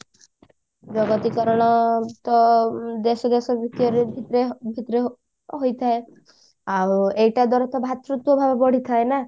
ଜଗତୀକରଣ ତ ଦେଶ ଦେଶ ଭିତରେ ହୋଇଥାଏ ଆଉ ଏଟା ଦ୍ଵାରା ତ ଭାତୃତ୍ଵ ଭାବ ବଢିଥାଏ ନା